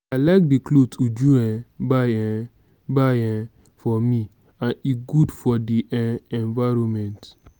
i like the cloth uju um buy um buy um for me and e good for the um environment